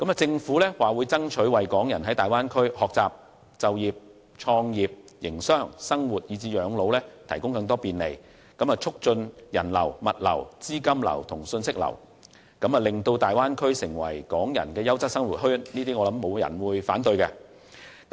政府表示會爭取為港人在大灣區學習、就業、創業、營商、生活以至養老提供更多便利，促進人流、物流、資金流和信息流，使大灣區成為港人的優質生活圈，我相信沒有人會反對這些建議。